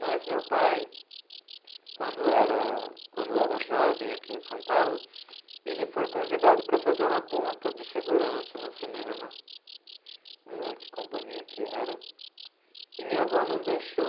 Mas meu pai, quando era, quando era jovem aqui em São Paulo, ele foi convidado para fazer uma ponta de figurante no cinema, não lembro que companhia que era, e minha avó não deixou.